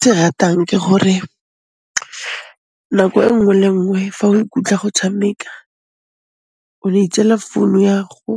Se ratang ke gore nako e nngwe le nngwe fa o ikutlwa go tshameka, ono itseela founu ya 'go,